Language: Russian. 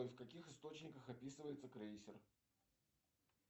в каких источниках описывается крейсер